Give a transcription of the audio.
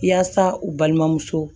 Yaasa u balimamuso